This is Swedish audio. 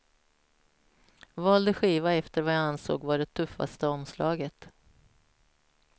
Valde skiva efter vad jag ansåg vara det tuffaste omslaget.